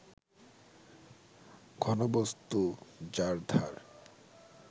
ঘনবস্তু যার ধার